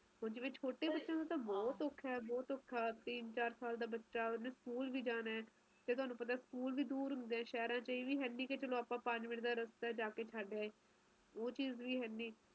ਓਹੋ ਓਹਨਾ ਨੂੰ ਦੇਖ ਕੇ ਲੱਗਦਾ ਵੀ ਆਪਾ ਸਹੀ ਹਲਾਤ ਚ ਬੈਠੇ ਆ ਹੈ ਤਾ ਹੈ ਨਾ ਘੱਟ ਤੋਂ ਘੱਟ ਵਧੀਆ ਜਗਾਹ ਤੇ ਬੈਠੇ ਆ ਓਵੇ ਠੰਡ ਨੀ ਹੈਗੀ ਹਜੀ ਹਜੀ